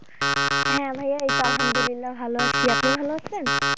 হ্যাঁ, ভাইয়া এই তো আলহামদুলিল্লা ভালো আছি, আপনি ভালো আছেন?